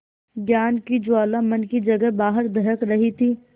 ज्ञान की ज्वाला मन की जगह बाहर दहक रही थी